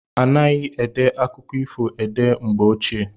Anaghi ede akụkọ ifo ede mgbe ochie.